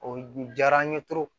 O diyara n ye